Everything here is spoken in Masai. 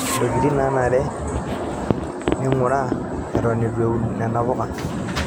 Ntokitin naanare ning'uraa eton eitu iwun nena puka.